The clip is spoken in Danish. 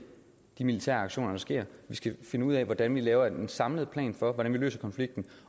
de militære aktioner der sker vi skal finde ud af hvordan vi laver en samlet plan for hvordan vi løser konflikten